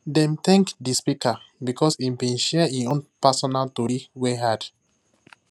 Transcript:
dem thank the speaker because he been share him own personal tory wey hard